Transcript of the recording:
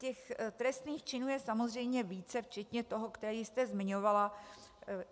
Těch trestných činů je samozřejmě více, včetně toho, který jste zmiňovala.